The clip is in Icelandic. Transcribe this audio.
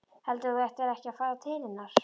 Heldurðu að þú ættir ekki að fara til hennar?